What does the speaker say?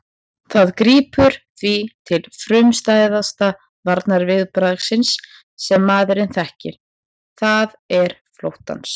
Það grípur því til frumstæðasta varnarviðbragðs sem maðurinn þekkir, það er flóttans.